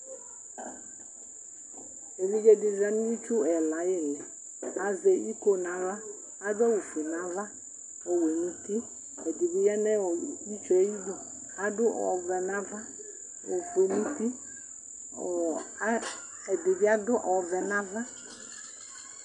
Evidze di za nu itsu ɛla ayiʋ ili Azɛ iko nu aɣla Adu awu fue nu'ava , ɔwɛ nutiɛdibi yanʋ itsue ayiduAdʋ ɔvɛ nava, ofue ŋutiƆɔɔ ɛdibi adʋ ɔvɛ nava